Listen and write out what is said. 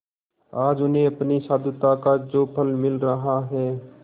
आज उन्हें अपनी साधुता का जो फल मिल रहा है